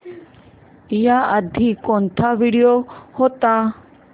याआधी कोणता व्हिडिओ होता